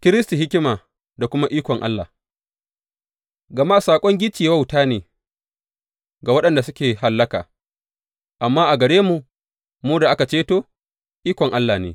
Kiristi hikima da kuma ikon Allah Gama saƙon gicciye wauta ne ga waɗanda suke hallaka, amma a gare mu, mu da ake ceto, ikon Allah ne.